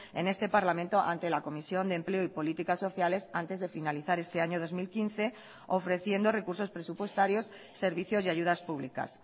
en este parlamento ante la comisión de empleo y políticas sociales antes de finalizar este año dos mil quince ofreciendo recursos presupuestarios servicios y ayudas públicas